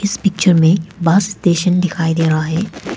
इस तस्वीर में बस स्टेशन दिखाई दे रहा है।